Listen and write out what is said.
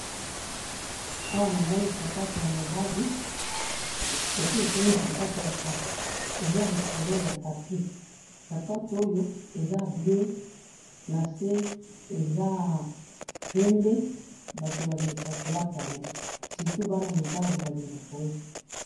awa namoni sapatou ya mobali, esi ekomi sapatou ya kala, eza likolo ya tapi sapatou oyo eza bleu nase eza pembe batou balingaka kolata yango surtout bana mibali balingaka oyo.